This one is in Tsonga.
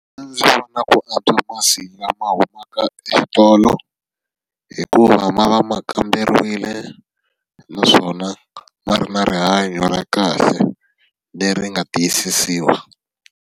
A ndzi vona ku antswa masi lama humaka exitolo, hikuva ma va ma kamberiwile naswona ma ri na rihanyo ra kahle leri nga tiyisisiwa.